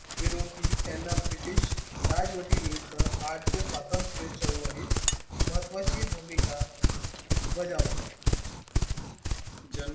विरोधी त्यांना british राजवटी विरुद्ध भारती स्वातंत्र्य चळवळी महत्त्वाची भूमिका बजावली